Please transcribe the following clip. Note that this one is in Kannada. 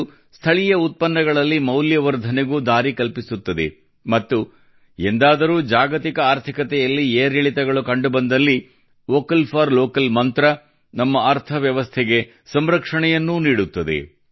ಇದು ಸ್ಥಳೀಯ ಉತ್ಪನ್ನಗಳಲ್ಲಿ ಮೌಲ್ಯವರ್ಧನೆಗೂ ದಾರಿ ಕಲ್ಪಿಸುತ್ತದೆ ಮತ್ತು ಎಂದಾದರೂ ಜಾಗತಿಕ ಆರ್ಥಿಕತೆಯಲ್ಲಿ ಏರಿಳಿತಗಳು ಕಂಡುಬಂದಲ್ಲಿ ವೋಕಲ್ ಫಾರ್ ಲೋಕಲ್ ಮಂತ್ರವು ನಮ್ಮ ಅರ್ಥವ್ಯವಸ್ಥೆಗೆ ಸಂರಕ್ಷಣೆಯನ್ನೂ ನೀಡುತ್ತದೆ